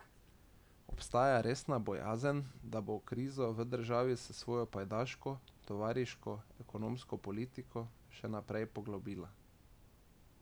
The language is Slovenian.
Obstaja resna bojazen, da bo krizo v državi s svojo pajdaško, tovarišijsko ekonomsko politiko še poglobila.